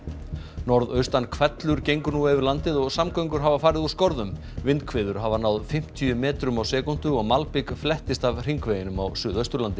norðaustan hvellur gengur nú yfir landið og samgöngur hafa farið úr skorðum vindhviður hafa náð fimmtíu metrum á sekúndu og malbik flettist af hringveginum á Suðausturlandi